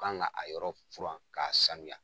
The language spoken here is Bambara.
Kan ka a yɔrɔ furan k'a sanuya.